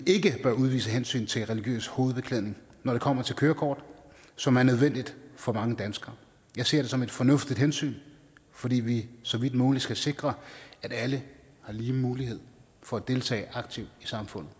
ikke bør udvise hensyn til religiøs hovedbeklædning når det kommer til kørekort som er nødvendigt for mange danskere jeg ser det som et fornuftigt hensyn fordi vi så vidt muligt skal sikre at alle har lige mulighed for at deltage aktivt i samfundet